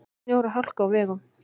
Snjór og hálka á vegum